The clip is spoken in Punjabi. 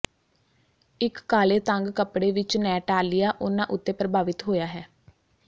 ਇੱਕ ਕਾਲੇ ਤੰਗ ਕੱਪੜੇ ਵਿੱਚ ਨੈਟਾਲੀਆ ਉਹਨਾਂ ਉੱਤੇ ਪ੍ਰਭਾਵਿਤ ਹੋਇਆ ਹੈ